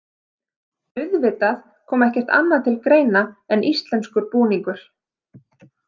Auðvitað kom ekkert annað til greina en íslenskur búningur.